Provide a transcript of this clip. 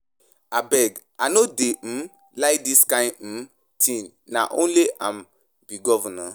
Abeg I no dey um like dis kin um thing, na only am be governor?